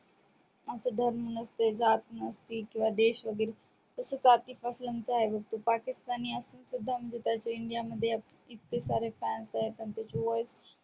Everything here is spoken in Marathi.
आस धर्म नसते जात नसते किंवा देश वेगेरे तसेच आतिफ अस्लम च आहे बग तो पाकिस्तानी असून सुद्धा म्हणजे त्याचे india मध्ये त्याचे इतके सारे fans आहेत आणि त्याची voice